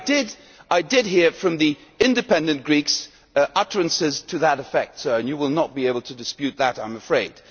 But I did hear from the Independent Greeks utterances to that effect, Sir, and you will not be able to dispute that, I am afraid.